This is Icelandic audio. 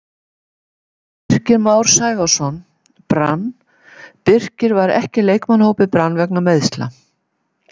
Birkir Már Sævarsson, Brann Birkir var ekki í leikmannahópi Brann vegna meiðsla.